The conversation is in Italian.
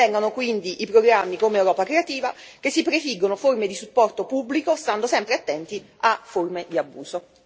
Ben vengano quindi programmi come Europa creativa che si prefiggono forme di supporto pubblico, stando sempre attenti a forme di abuso.